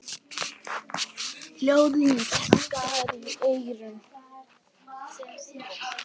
Hljóðið skar í eyrun.